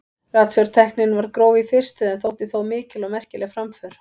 Ratsjártæknin var gróf í fyrstu en þótti þó mikil og merkileg framför.